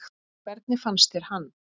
Hvernig fannst þér hann?